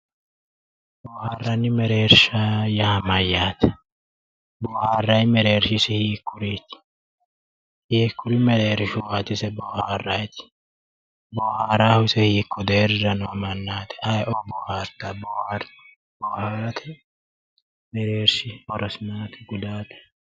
boohaarranni mereersha yaa mayyaate ? boohaarray mereershi isi hiikkuriiti? hiikkuri mereershuwaati ise boohaarrayti ? boohaaraahu isi hiikko deerrira noo mannaati ayee'o boohaartanno boohaarra ma gudaate abbanno ?